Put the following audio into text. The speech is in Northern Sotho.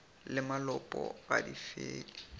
le malopo ga di fele